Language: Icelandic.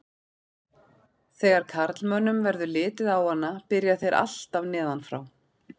Þegar karlmönnum verður litið á hana byrja þeir alltaf neðan frá.